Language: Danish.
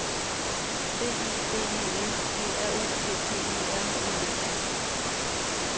B I B E L G R U P P E R N E